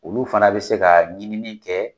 Ulu fana bɛ se ka ɲini kɛ